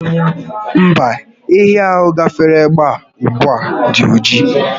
Mba, ehi ahụ gafere ebea ugbua dị oji